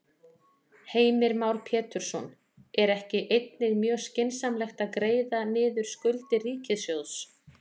Heimir Már Pétursson: Er ekki einnig mjög skynsamlegt að greiða niður skuldir ríkissjóðs?